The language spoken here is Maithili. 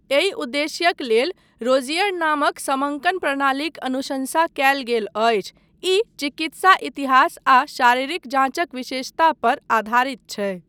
एहि उद्देश्यक लेल रोज़ियर नामक समङ्कन प्रणालीक अनुशंसा कयल गेल अछि, ई चिकित्सा इतिहास आ शारीरिक जाँचक विशेषता पर आधारित छै।